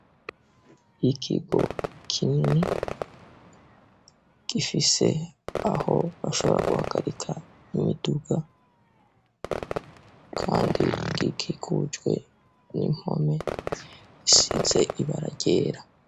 Ikigo kinini gifise aho bashobora guhagarika imiduga, kandi gikigujwe n'impome isize ibara ryera.